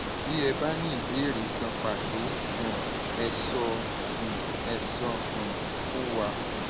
bí ẹ bá ní ìbéèrè kan pàtó um ẹ sọ um ẹ sọ um fún wa